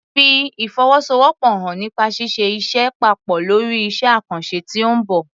Fi ìfọwọ́sowọ́pọ̀ hàn nípa ṣíṣe iṣẹ́ papọ̀ lórí iṣẹ́ àkànṣe tí ó ń bọ̀.